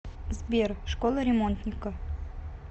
сбер школа ремонтника